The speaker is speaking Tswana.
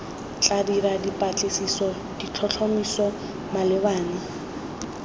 tla dira dipatlisiso ditlhotlhomiso malebana